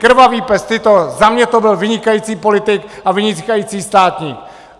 Krvavý pes Tito - za mě to byl vynikající politik a vynikající státník!